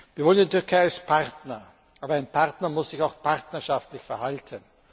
Wir wollen die Türkei als Partner. Aber ein Partner muss sich auch partnerschaftlich verhalten.